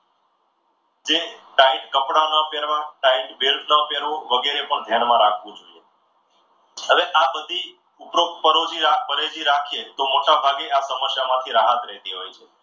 જે tight કપડાના પહેરવા tight belt ના પહેરવો વગેરે પણ ધ્યાનમાં રાખવું જોઈએ. હવે આ બધી ઉપરોક્ત પરોજી પરેજી રાખે તો મોટાભાગે આ સમસ્યા માંથી રાહત રહેતી હોય છે.